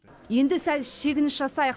енді сәл шегініс жасайық